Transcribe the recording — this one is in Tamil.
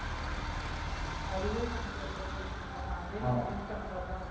அதுவே நமக்கு ஒரு பெரிய விஷயம் தான. அதே நமக்கு Win பண்ண மாதிரி தான்.